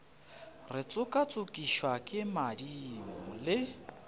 re tšokatšokišwa ke madimo le